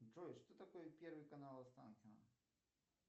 джой что такое первый канал останкино